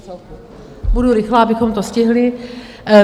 Budu rychlá, abychom to stihli.